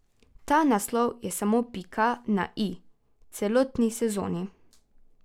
Ta naslov je samo pika na i celotni sezoni.